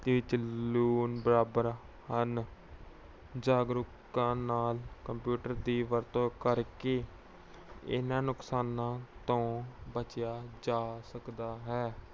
ਵਿੱਚ ਲੂਣ ਬਰਾਬਰ ਹਨ। ਜਾਗਰੂਕਤਾ ਨਾਲ computer ਦੀ ਵਰਤੋਂ ਕਰਕੇ ਇਹਨਾਂ ਨੁਕਸਾਨਾਂ ਤੋਂ ਬਚਿਆ ਜਾ ਸਕਦਾ ਹੈ।